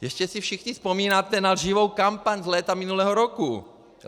Jistě si všichni vzpomínáte na lživou kampaň z léta minulého roku.